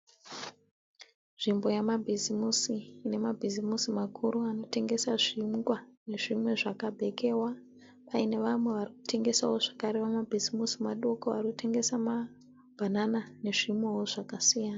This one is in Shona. Nzvimbo yemabhizimusi ine mabhizimusi makuru anotengesa zvingwa nezvimwe zvakabhekewa. Pane vamwe vanotengesawo vakare vemabhizimisi madoko varikutengesa mabhanana nezvimwewo zvakasiyana.